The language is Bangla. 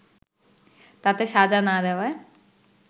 তাতে সাজা না দেওয়ায়